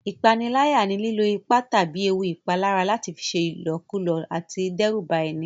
Ìpániláyà ni lílò ipá tàbí ewu ìpalára láti fi ṣe ìlọ̀kulọ̀ àbí dẹ́rùba ẹni